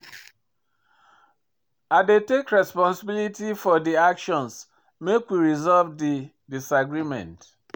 I dey take responsibility for di actions make we resolve di disagreement.